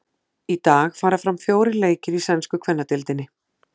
Í dag fara fram fjórir leikir í sænsku kvennadeildinni.